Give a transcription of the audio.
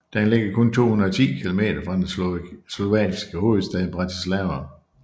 Den ligger kun 210 kilometer fra den slovakiske hovedstad Bratislava